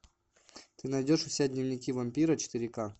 ты найдешь у себя дневники вампира четыре ка